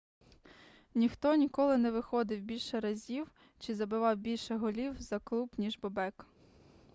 ніхто ніколи не виходив більше разів чи забивав більше голів за клуб ніж бобек